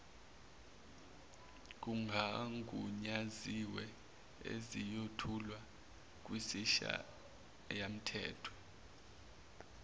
kungagunyaziwe esiyothulwa kwisishayamthetho